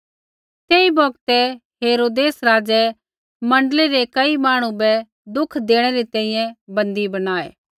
तेई बौगतै हेरोदेस राज़ै मण्डली रै कई मांहणु बै दुख देणै री तैंईंयैं बन्दी बणायै